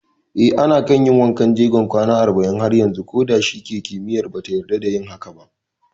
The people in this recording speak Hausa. Eh, ana kan yin wankan jegon kwana arba'in har yanzu koda shike kimiyya bata yarda da yin hakan ba